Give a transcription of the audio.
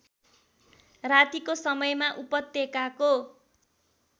रातिको समयमा उपत्यकाको